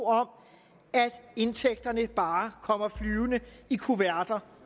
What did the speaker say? at indtægterne bare kommer flyvende i kuverter